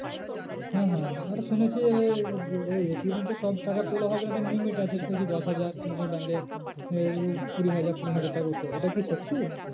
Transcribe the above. হ্যাঁ হ্যাঁ ওটা শুনেছি এবার ATM তো সব টাকা তোলা হবে না একটা limit আছে দশ হাজার কোনো কোনো bank এ কুড়ি হাজার পনেরো হাজার টাকা ওঠে এটা কি সত্যি?